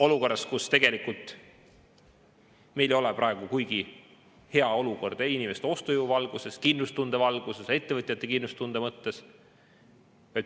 Olukorras, kus tegelikult meil ei ole praegu kuigi hea seis ei inimeste ostujõu, kindlustunde ega ettevõtjate kindlustunde mõttes.